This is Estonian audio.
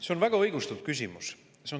See on väga õigustatud küsimus.